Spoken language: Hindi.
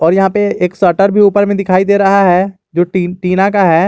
और यहां पे एक शटर भी ऊपर में दिखाई दे रहा है जो टी टीना का है।